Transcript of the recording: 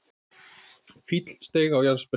Fíll steig á jarðsprengju